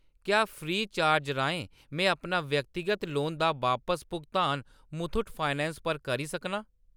क्या free charge राहें में अपना व्यक्तिगत लोन दा बापस भुगतान मुथूट फाइनैंस पर करी सकनां ?